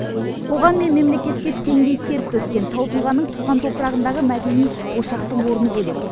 қоғам мен мемлекетке теңдей тер төккен тау тұлғаның туған топырағындағы мәдени ошақтың орны бөлек